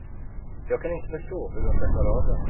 Jag kan inte förstå hur de ska klara av det.